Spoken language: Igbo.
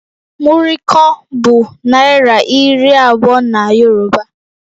Muri kan bụ naira iri abụọ na Yoruba